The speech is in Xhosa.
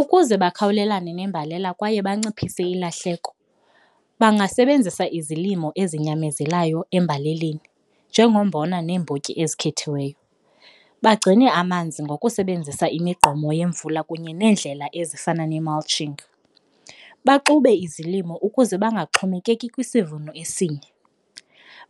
Ukuze bakhawulelane nembalela kwaye banciphise ilahleko bangasebenzisa izilimo ezinyamezelayo embalelweni njengombona neembotyi ezikhethiweyo, bagcine amanzi ngokusebenzisa imigqomo yemvula kunye neendlela ezifana ne-malshing. Baxube izilimo ukuze bangaxhomekeki kwisivuno esinye,